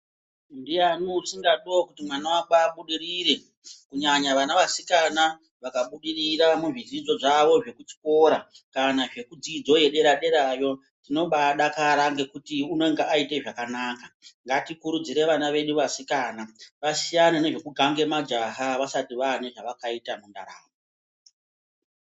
Ndiyani usingadiwo kuti mwana wake abudirire kunyanya vana vasikana vakabudirira muzvidzidzo zvavo zvekuchikora kana zvekudzidzo yedera derayo tinobadakara ngekuti unenge aite zvakanaka ngatikurudzire vana vedu vasikana vasiyane nezvekugange majaha vasati vane zvavakaita mundaramo